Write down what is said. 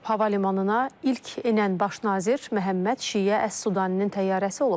Hava limanına ilk enən Baş nazir Məhəmməd Şiyə Əs Sudanin təyyarəsi olub.